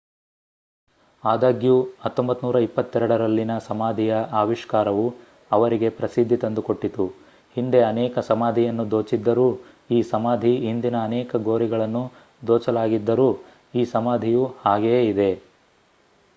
ಆದಾಗ್ಯೂ 1922 ರಲ್ಲಿನ ಸಮಾಧಿಯ ಆವಿಷ್ಕಾರವು ಅವರಿಗೆ ಪ್ರಸಿದ್ದಿ ತಂದುಕೊಟ್ಟಿತು ಹಿಂದೆ ಅನೇಕ ಸಮಾಧಿಯನ್ನು ದೋಚಿದ್ದರೂ ಈ ಸಮಾಧಿ ಹಿಂದಿನ ಅನೇಕ ಗೋರಿಗಳನ್ನು ದೋಚಲಾಗಿದ್ದರೂ ಈ ಸಮಾಧಿಯು ಹಾಗೆಯೇ ಇದೆ